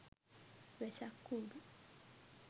wesak kudu